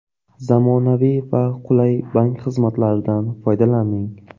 Zamonaviy va qulay bank xizmatlaridan foydalaning!